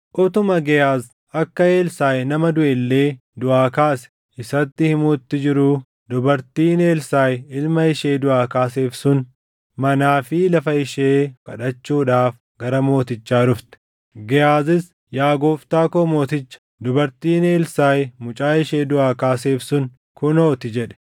Utuma Gehaaz akka Elsaaʼi nama duʼe illee duʼaa kaase isatti himuutti jiruu dubartiin Elsaaʼi ilma ishee duʼaa kaaseef sun manaa fi lafa ishee kadhachuudhaaf gara mootichaa dhufte. Gehaazis, “Yaa gooftaa koo mooticha, dubartiin Elsaaʼi mucaa ishee duʼaa kaaseef sun kunoo ti” jedhe.